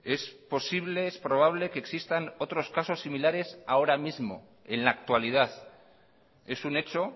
es posible es probable que existan otros casos similares ahora mismo en la actualidad es un hecho